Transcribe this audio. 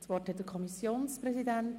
Das Wort hat der Kommissionspräsident.